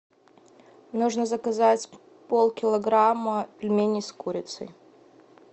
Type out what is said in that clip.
нужно заказать полкилограмма пельменей с курицей